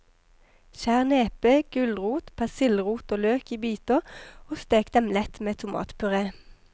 Skjær nepe, gulrot, persillerot og løk i biter og stek dem lett med tomatpuré.